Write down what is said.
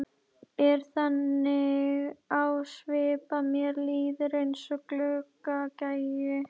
Er þannig á svip að mér líður eins og gluggagægi.